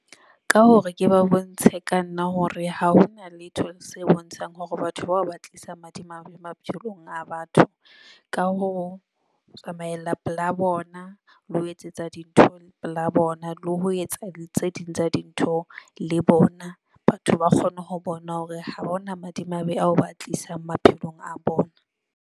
Ka hore ke ba bontshe ka nna hore ha hona letho se bontshang hore batho bao ba tlisa madimabe maphelong a batho. Ka ho, tsamaella pela bona le ho etsetsa dintho la bona le ho etsa tse ding tsa dintho le bona. Batho ba kgone ho bona hore ha hona madimabe ao ba tlisang maphelong a bona.